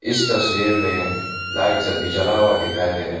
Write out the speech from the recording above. इस तस्वीर में लाइट सब भी जला हुआ दिखाई दे रहे हैं।